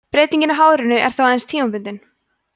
breytingin á hárinu er þá aðeins tímabundin